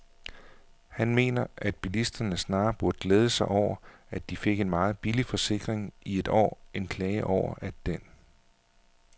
Han mener, at bilisterne snarere burde glæde sig over, at de fik en meget billig forsikring i et år end klage over, at den